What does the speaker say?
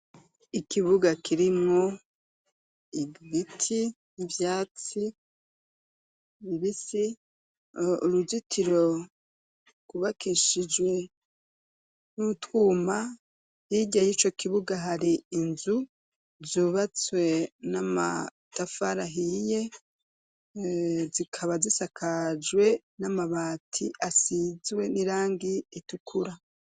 Ikibuga kirimo igbiti ibyatsi bibisi uruzitiro kubakishijwe n'utwuma hirya yico kibuga hari inzu zubatswe n'amatafari ahiye zikaba zisakajwe n'amabati asizwe n'irangi ritukura.